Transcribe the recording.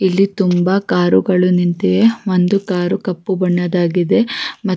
ಇಲ್ಲಿ ತುಂಬ ಕಾರುಗಳು ನಿಂತಿದೆ ಒಂದು ಕಾರು ಕಪ್ಪು ಬಣ್ಣದಾಗಿದೆ ಮತ್ತ್--